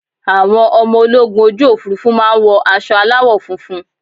Àwọn ọmọ ológun ojú Òfurufú máa ń wọ aṣọ aláwọ̀ funfun.